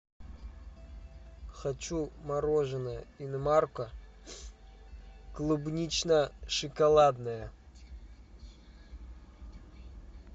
хочу мороженое инмарко клубнично шоколадное